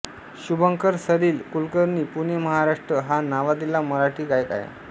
शुभंकर सलील कुलकर्णी पुणे महाराष्ट्र हा नावाजलेला मराठी गायक आहे